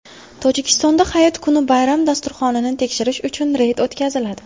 Tojikistonda hayit kuni bayram dasturxonini tekshirish uchun reyd o‘tkaziladi.